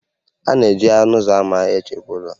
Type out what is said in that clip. A na-eji ọnụ ụzọ ámá echekwa ụlọ